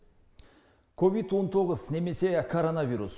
ковид он тоғыз немесе коронавирус